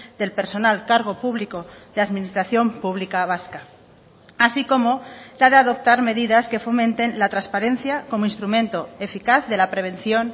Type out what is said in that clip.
del personal cargo público de administración pública vasca así como la de adoptar medidas que fomenten la transparencia como instrumento eficaz de la prevención